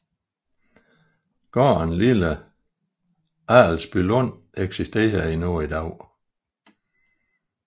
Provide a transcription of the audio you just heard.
Gården Lille Adelsbylund eksisterer endnu i dag